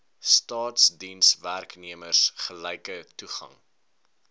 staatsdienswerknemers gelyke toegang